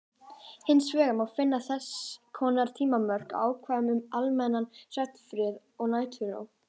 Hins vegar má finna þess konar tímamörk í ákvæðum um almennan svefnfrið og næturró.